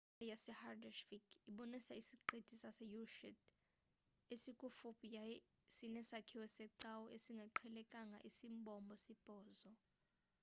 ilali yasehaldarsvik ibonisa isiqithi sase-eysturiy esikufuphi yaye sinesakhiwo secawa esingaqhelekanga esimbombo-sibhozo